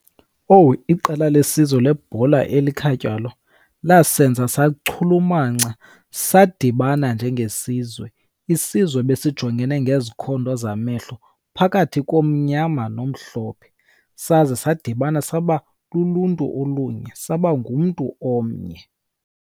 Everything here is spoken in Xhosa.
Owu, iqela lesizwe lebhola elikhatywalo lasenza sachulumanca, sadibana njengesizwe. Isizwe besijongene ngezikhondo zamehlo, phakathi komnyama nomhlophe, saze sadibana saba luluntu olunye, saba ngumntu omnye.